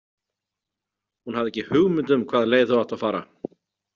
Hún hafði ekki hugmynd um hvaða leið þau áttu að fara.